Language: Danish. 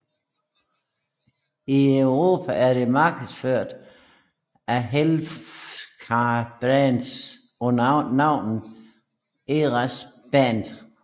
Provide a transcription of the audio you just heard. I Europa er det markedsført af Healthcare Brands under navnet Erazaban